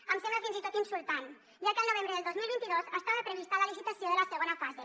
em sembla fins i tot insultant ja que el novembre del dos mil vint dos estava prevista la licitació de la segona fase